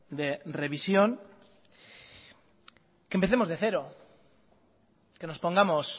de revisión que empecemos de cero que nos pongamos